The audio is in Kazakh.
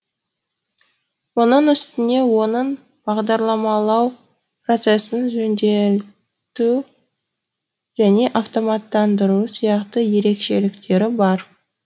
мұның үстіне оның бағдарламалау процесін жеңілдету және автоматтандыру сияқты ерекшеліктері бар